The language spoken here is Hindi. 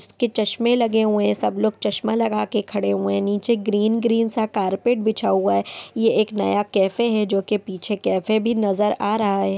इसके चश्में लगे हुए हैं। सबलोग चश्मा लगाके खड़े हुए हैं। नीचे ग्रीन ग्रीन सा कार्पेट बिछा हुआ है। ये एक नया कैफ़े है जो के पीछे कैफ़े भी नजर आ रहा है।